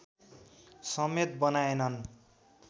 समेत बनाएनन्